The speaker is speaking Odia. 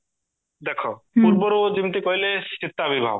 ଦେଖା ପୂର୍ବରୁ ଜିମିତି କହିଲେ ସୀତା ବିବାହ